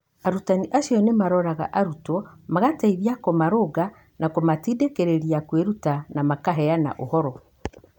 Arutani acio nĩ maaroraga arutwo, magateithia kũmarũnga na kũmatindĩkĩrĩria kwĩruta, na makaheana ũhoro.